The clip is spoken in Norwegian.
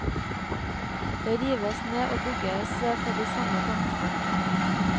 Det rives ned og bygges på de samme tomtene.